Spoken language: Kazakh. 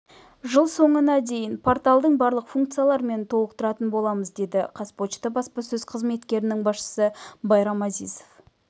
жыл соңына дейін порталдың барлық функцияларымен толықтыратын боламыз деді қазпошта баспасөз қызметінің басшысы байрам азизов